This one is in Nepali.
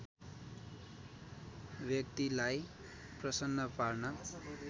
व्यक्‍तिलाई प्रसन्न पार्न